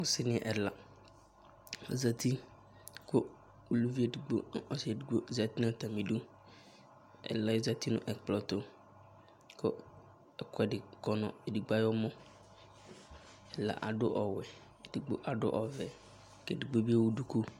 Ɔsini ɛla azati, ku uluvi édigbo, ɔsi édigbo zati nu atami du Ɛlaɛ zati nu ɛkplɔtu ku ɛkuɛdi kɔnu édigbo ayému Ɛla adu ɔwuɛ, édigbo adu ɔʋɛ ké édigbo bi éwuduku